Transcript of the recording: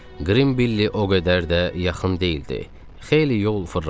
Qrim Billi o qədər də yaxın deyildi, xeyli yol fırlanmalı.